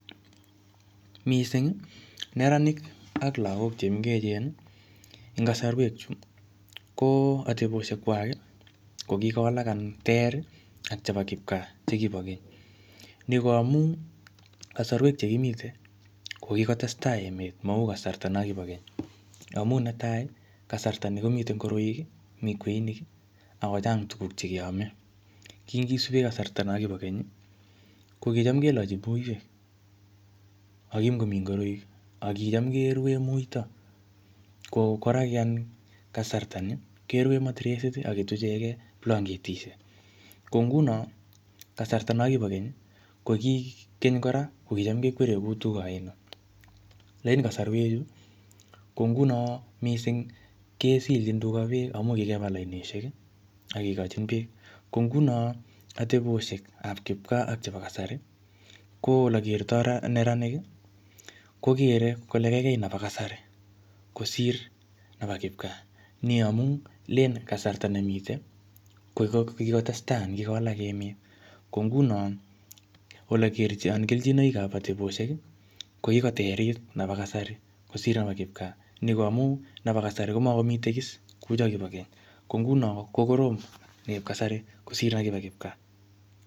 Mising neranik ak lagok che mengechen, eng kasarwekchu, ko ateposhekwai ko kikowalak anan ter ak chebo kipgaa che kibo keny. Ni ko amun, kasarwek chekimitei ko kikotestai emen mau che kibo keny. Amu netai kasarta ne kimitei komi ngoroik, mi kweonik, ako chang tukuk che keamei. Kingisupe kasarwek cho kibo keny ko kicham kelochi muiwek. Ako ki makomi ngoroik, ako kicham kerue muito ako koraki anyun kasarta ni, kerue matiresit ak ketuchekei blanketishek. Ko nguno kasarta na ko kasarta no kibo keny ko kitam kekwerie tuga oinet ko ngun mising kesilchin tuga beek ndamun kikepal anoshek ak kikochin beek. Nguno ateboshek ab kipgaa ak chebo kasari ko ole kertoi neranik, ko kerei kole kaigai nebo kasari kosir nebo kipgaa ni amun, len kasarta nemitei ko kikotestai anan kikowalak emet. ko nguno kelchinoikab ateboshek, ko kikoterit nebo kasari kosir kipgaa. Amun nebo kasari ko makomi tegis kosir nebo keny. Ko nguno ko korom neb kasari kosir neb kipgaa.